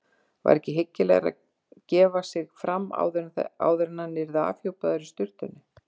Var ekki hyggilegra að gefa sig fram áður en hann yrði afhjúpaður í sturtunni?